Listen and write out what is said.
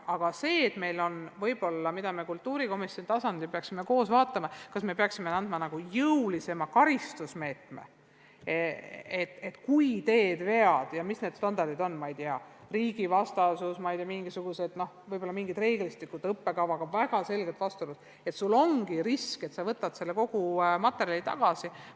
Aga võib-olla peaksime kultuurikomisjoni tasandil koos vaatama, kas meil tuleks rakendada jõulisemaid karistusmeetmeid, et kui teed vea – ma ei tea, esineb riigivastasust või on õppekavaga väga selge vastuolu –, siis sul ongi risk, et pead kogu selle materjali tagasi võtma.